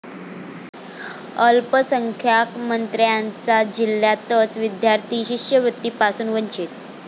अल्पसंख्याक मंत्र्यांच्या जिल्ह्यातच विद्यार्थी शिष्यवृत्तीपासून वंचित